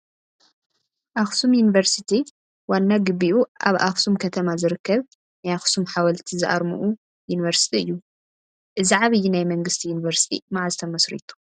ኣኽሱም ዩኒቨርሲቲ ዋና ግቢኡ ኣብ ኣኽሱም ከተማ ዝርከብ ናይ ኣኽሱም ሓወልቲ ዝኣርምኡ ዩኒቨርሲቲ እዩ፡፡ እዚ ዓብዪ ናይ መንግስቲ ዩኒቨርሲቲ መዓዝ ተመስሪቱ?